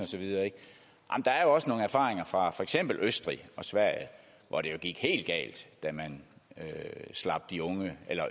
arh jo også nogle erfaringer fra for eksempel østrig og sverige hvor det jo gik helt galt da man slap de